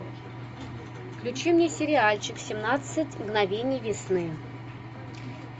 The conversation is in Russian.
включи мне сериальчик семнадцать мгновений весны